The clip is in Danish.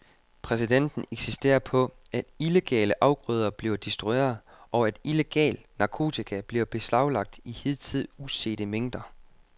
Præsidenten insisterer på, at illegale afgrøder bliver destrueret, og at illegal narkotika bliver beslaglagt i hidtil usete mængder.